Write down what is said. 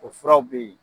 O furaw bɛ yen